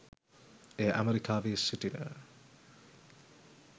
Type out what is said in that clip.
එය ඇමෙරිකාවේ සිටින